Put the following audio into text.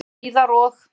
Það kom síðar og.